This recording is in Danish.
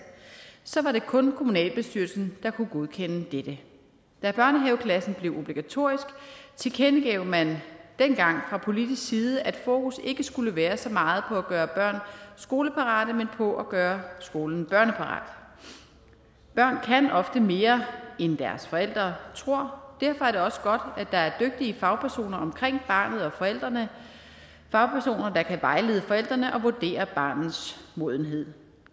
så var det kun kommunalbestyrelsen der kunne godkende dette da børnehaveklassen blev obligatorisk tilkendegav man dengang fra politisk side at fokus ikke skulle være så meget på at gøre børn skoleparate men på at gøre skolen børneparat børn kan ofte mere end deres forældre tror derfor er det også godt at der er dygtige fagpersoner omkring barnet og forældrene fagpersoner der kan vejlede forældrene og vurdere barnets modenhed